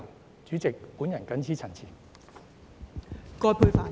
代理主席，我謹此陳辭。